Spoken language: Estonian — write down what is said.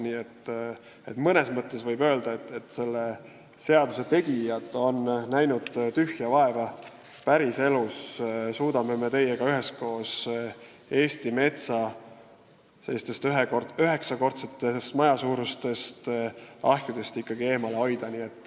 Nii et mõnes mõttes võib öelda, et selle seaduseelnõu tegijad on näinud tühja vaeva: päriselus me suudame üheskoos Eesti metsa üheksakordse maja suurustest ahjudest eemale hoida.